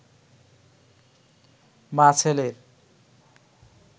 মা-ছেলের